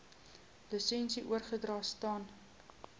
lisensie oorgedra staan